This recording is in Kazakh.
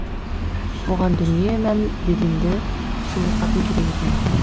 оған дүние мен бәденді сұлу қатын керек екен